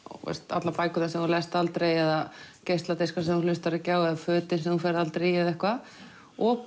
allar bækurnar sem þú lest aldrei eða geisladiskar sem þú hlustar ekki á eða fötin sem þú ferð aldrei í eða eitthvað og